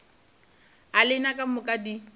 a lena ka moka di